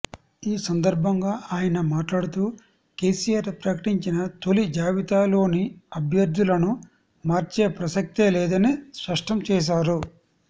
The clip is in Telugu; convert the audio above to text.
ఈ సందర్భంగా ఆయన మాట్లాడుతూ కెసిఆర్ ప్రకటించిన తొలి జాబితాలోని అభ్యర్థులను మార్చే ప్రసక్తే లేదని స్పష్టం చేశారు